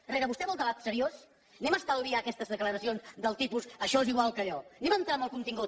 herrera vostè vol debat seriós estalviem aquestes declaracions del tipus això és igual que allò entrem en el contingut